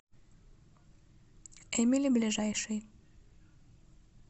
эмили ближайший